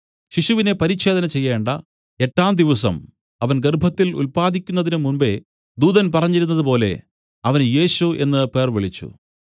ശിശുവിനെ പരിച്ഛേദന ചെയ്യേണ്ട എട്ടാം ദിവസം അവൻ ഗർഭത്തിൽ ഉല്പാദിക്കുന്നതിനു മുമ്പെ ദൂതൻ പറഞ്ഞിരുന്നതുപോലെ അവന് യേശു എന്നു പേർവിളിച്ചു